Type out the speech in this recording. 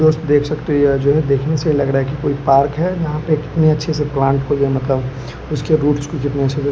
दोस्त देख सकते है यह जो है देखने से लग रहा है कि कोई पार्क है यहां पे कितनी अच्छी सी प्लांट को ये मतलब उसके रूट्स को कितने अच्छे से--